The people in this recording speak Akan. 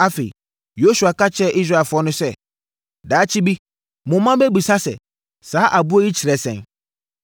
Afei, Yosua ka kyerɛɛ Israelfoɔ no sɛ, “Daakye bi mo mma bɛbisa sɛ, ‘Saa aboɔ yi kyerɛ sɛn?’